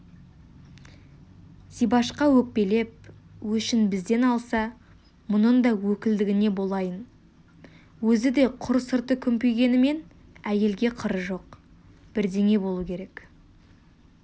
зибашқа өкпелеп өшін бізден алса мұнын да өкілдігіне болайын өзі де құр сырты күмпигенімен әйелге қыры жоқ бірдеңе болу керек